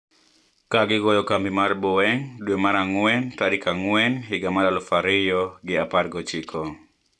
Ka gigoyo kambi mar Boeing dwe mar ang`wen tarik ang`wen higa mar aluf ariyo gi apar gi ochiko